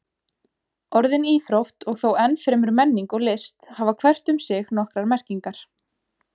Orðin íþrótt og þó enn fremur menning og list hafa hvert um sig nokkrar merkingar.